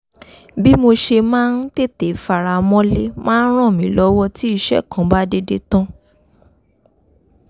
bí mo ṣe máa ń tètè faramọ́lé máa ń ràn mí lọ́wọ́ tí iṣẹ́ kan bá dédé tán